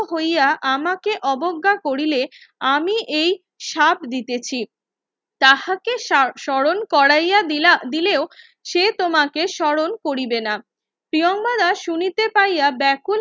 হইয়া আমাকে অবজ্ঞা করিলে আমি এই সাপ দিতেছি তাহাকে স্মরণ কোরাইয়া দিলেও সে তোমাকে স্মরণ করিবে না প্রিয়াঙ্গদা শুনিতে পাইয়া বেকুল